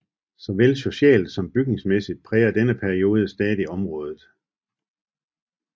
Såvel socialt som bygningsmæssigt præger denne periode stadig området